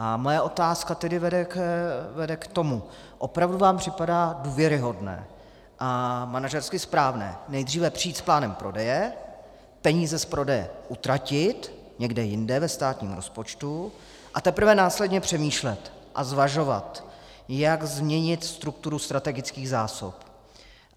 A moje otázka tedy vede k tomu: Opravdu vám připadá důvěryhodné a manažersky správné nejdříve přijít s plánem prodeje, peníze z prodeje utratit někde jinde ve státním rozpočtu, a teprve následně přemýšlet a zvažovat, jak změnit strukturu strategických zásob?